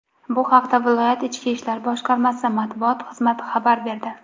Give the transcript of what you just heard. Bu haqda viloyat Ichki ishlar boshqarmasi matbuot xizmati xabar berdi.